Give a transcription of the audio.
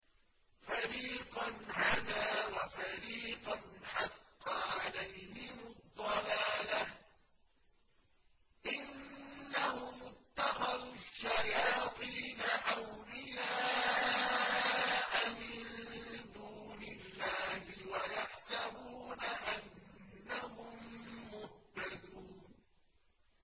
فَرِيقًا هَدَىٰ وَفَرِيقًا حَقَّ عَلَيْهِمُ الضَّلَالَةُ ۗ إِنَّهُمُ اتَّخَذُوا الشَّيَاطِينَ أَوْلِيَاءَ مِن دُونِ اللَّهِ وَيَحْسَبُونَ أَنَّهُم مُّهْتَدُونَ